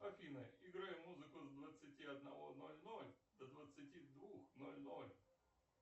афина играй музыку с двадцати одного ноль ноль до двадцати двух ноль ноль